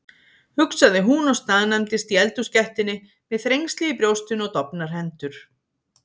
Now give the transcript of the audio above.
hugsaði hún og staðnæmdist í eldhúsgættinni með þrengsli í brjóstinu og dofnar hendur.